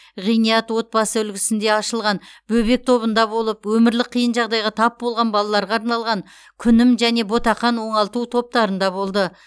ғиният отбасы үлгісінде ашылған бөбек тобында болып өмірлік қиын жағдайға тап болған балаларға арналған күнім және ботақан оңалту топтарында болды